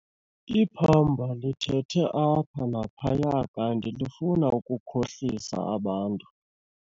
Iphamba lithethe apha naphaya kanti lifuna ukukhohlisa abantu.